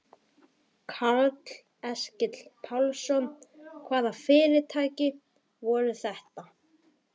Karl Eskil Pálsson: Hvaða fyrirtæki voru þetta?